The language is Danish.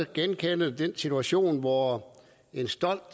genkende den situation hvor en stolt